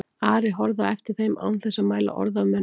Ari horfði á eftir þeim án þess að mæla orð af munni.